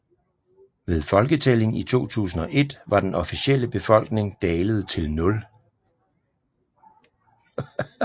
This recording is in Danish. Ved folketællingen i 2001 var den officielle befolkning dalet til 0